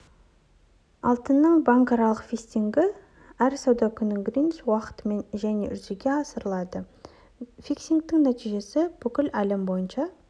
алтынның банкаралық фиксингі әр сауда күні гринвич уақытымен және жүзеге асырылады фиксингтің нәтижесі бүкіл әлем бойынша